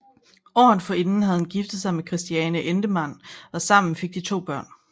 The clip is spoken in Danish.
Året forinden havde han giftet sig med Christiane Endemann og sammen fik de to børn